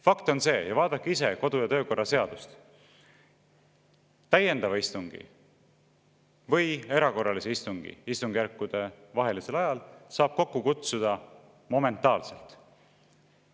Fakt on see – vaadake ise kodu- ja töökorra seadust –, et täiendava istungi või erakorralise istungi istungjärkude vahelisel ajal saab kokku kutsuda momentaalselt.